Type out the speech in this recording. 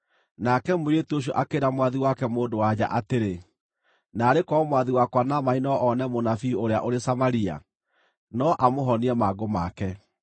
Nake mũirĩtu ũcio akĩĩra mwathi wake mũndũ-wa-nja atĩrĩ, “Naarĩ korwo mwathi wakwa Naamani no one mũnabii ũrĩa ũrĩ Samaria! No amũhonie mangũ make.”